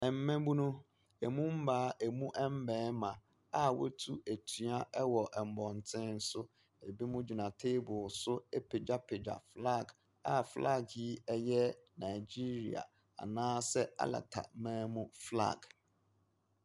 Mmabunu; ɛmu mmaa, ɛmu mmarima a wɔatu atua wɔ mmɔnten so. Ebinom gyina table so apagyapagya flag, a flag yi yi Nigeria anaasɛ Alataman mu flag.